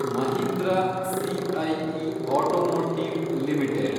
Mahindra CIE automotive limited